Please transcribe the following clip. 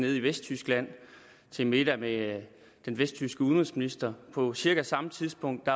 nede i vesttyskland til en middag med den vesttyske udenrigsminister på cirka samme tidspunkt